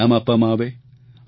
તેના ઇનામ આપવામાં આવે